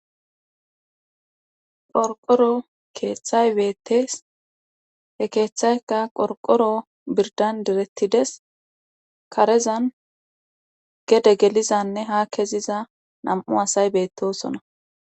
qorqoro keeththay beettes he keeththaykka qorqoro birdan direttides karezan gede gelizanne ha keziza nam7u asay beettosona